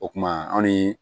O kuma an ni